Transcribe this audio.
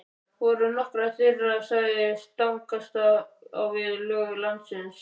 Voru nokkrar þeirra sagðar stangast á við lög landsins.